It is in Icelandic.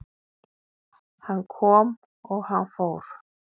Hann kom og hann fór